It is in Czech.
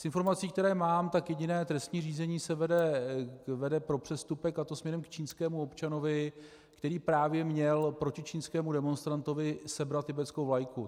Z informací, které mám, tak jediné trestní řízení se vede pro přestupek, a to směrem k čínskému občanovi, který právě měl proti čínskému demonstrantovi sebrat tibetskou vlajku.